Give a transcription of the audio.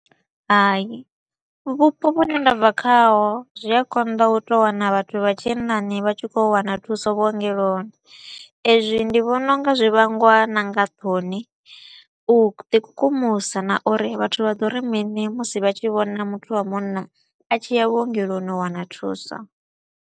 Hai, vhupo vhune nda bva khaho zwi a konḓa u tou wana vhathu vha tshinnani vha tshi kho u wana thuso vhuongeloni. Ezwi ndi vhona u nga zwi vhangwa na nga thoni, u ḓi kukumusa na uri vhathu vha ḓo ri mini musi vha tshi vhona muthu wa munna a tshi ya vhuongeloni u wana thuso.